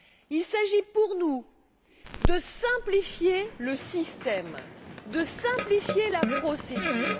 Il s'agit pour nous de simplifier le système, de simplifier la procédure.